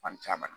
Fan caman